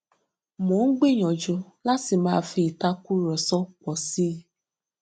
mo ń gbìyànjú láti má fi ìtàkùrọsọ pọ síi